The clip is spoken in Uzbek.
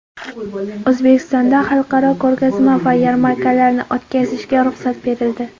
O‘zbekistonda xalqaro ko‘rgazma va yarmarkalarni o‘tkazishga ruxsat berildi.